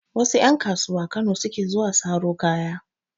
Wasu ƴan kasuwa Kano suke zuwa saro kaya.